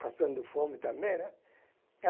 Passando fome também, né?